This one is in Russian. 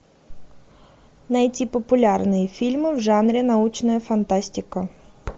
найти популярные фильмы в жанре научная фантастика